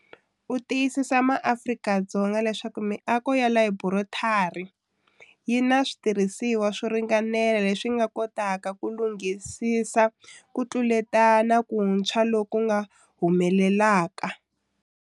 U tiyisise maAfrika-Dzonga leswaku miako ya Laborotari yi na switirhisiwa swo ringanela leswi nga kotaka ku langutisisa ku tluletana kuntshwa loku nga humelelaka.